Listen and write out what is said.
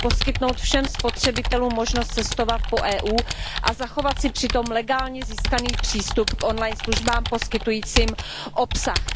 Tedy poskytnout všem spotřebitelům možnost cestovat po EU a zachovat si přitom legálně získaný přístup k on line službám poskytujícím obsah.